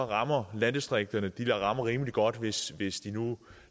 rammer landdistrikterne rimelig godt hvis hvis de nu